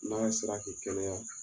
N'a sera k'i kɛnɛya